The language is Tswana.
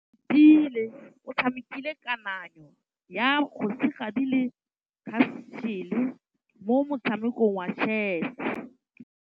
Oratile o tshamekile kananyô ya kgosigadi le khasêlê mo motshamekong wa chess.